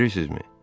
Bilirsinizmi?